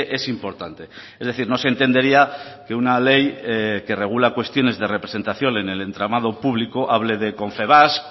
es importante es decir no se entendería que una ley que regula cuestiones de representación en el entramado público hable de confebask